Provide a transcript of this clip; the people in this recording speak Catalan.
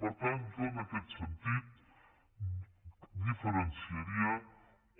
per tant jo en aquest sentit diferenciaria